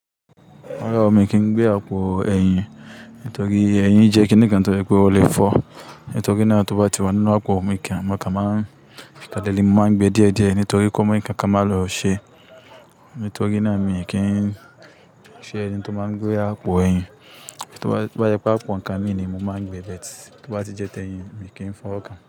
Rárá mi kì í gbé àpò ẹ̀yìn. Nítorí ẹ̀yìn jẹ́ kíni kan tó jẹ pé ó lè fọ́. Nítorí náà tó bá ti wà nínú àpò mi kíá, mo kàn máa ń kalẹ̀ ni mo máa ń gbé díẹ̀díẹ̀ nítorí kó mó ikán kán má lọ ṣe. Nítorí náà mi kì í ṣe ẹni tó máa ń gbé àpò ẹ̀yìn. To bá jẹ pé àpò nǹkan mi ni mo máa ń gbé but tó bá ti jẹ́ tẹ́ẹ̀yìn mi kì í fọ́wọ́ kan.